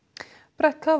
brett